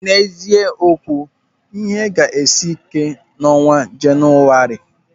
N'ezie okwu, ihe ga-esi ike n'ọnwa Jenụwarị.